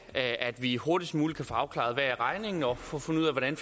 at vi hurtigst muligt kan få afklaret hvad regningen er og få fundet ud af hvordan